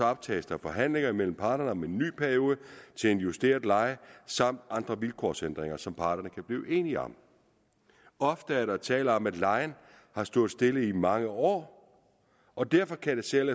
optages der forhandlinger mellem parterne om en ny periode til en justeret leje samt andre vilkårsændringer som parterne kan blive enige om ofte er der tale om at lejen har stået stille i mange år og derfor kan selv